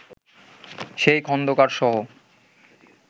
সেই খন্দকারসহ